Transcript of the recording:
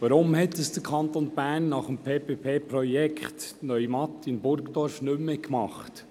Weshalb hat dies der Kanton nach dem PPP-Projekt Neumatt in Burgdorf nicht mehr gemacht?